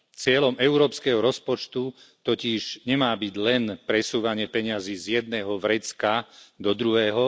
Cieľom európskeho rozpočtu totiž nemá byť len presúvanie peňazí z jedného vrecka do druhého.